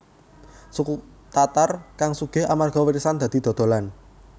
Suku Tatar kang sugih amarga warisan dadi dodolan